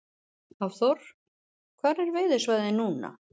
Hafþór: Hvar er veiðisvæðið núna?